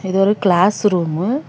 இது ஒரு classroom .